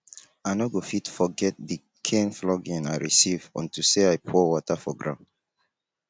i no go fit forget the kin flogging i receive unto say i pour water for ground